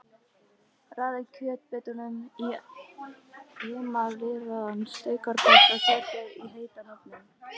Raðið kjötbitunum í emaleraðan steikarpott og setjið í heitan ofninn.